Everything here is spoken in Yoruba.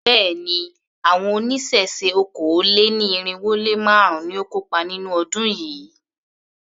Béèni, àwọn oníṣẹ̀ṣe okòó-lé-ní-irínwó-lé-márùn-ún ni ó kópa nínú ọdún yìí.